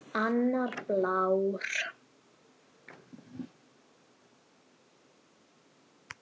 Annar blár.